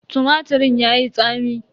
Tumatirin yayi tsami.